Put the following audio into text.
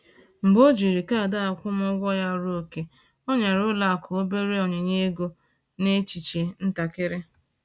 Mgbe o jiri kaadị akwụmụgwọ ya ruo ókè, o nyere ụlọ akụ obere onyinye ego n’echiche ntakịrị